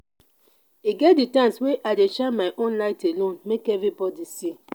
e get di times wey i dey shine my own light alone make everybodi see.